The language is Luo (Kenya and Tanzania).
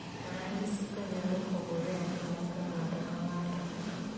Ranyisigo nyalo pogore ahinya kuom ng'ato ka ng'ato.